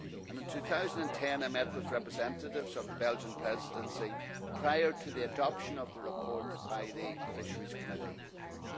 In 2010 I met with representatives of the Belgian Presidency prior to the adoption of the report by the Committee on Fisheries.